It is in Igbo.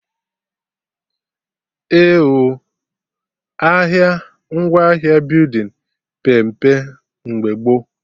Eh oo, ahịa ngwaahịa building pee mpe mgbe gboo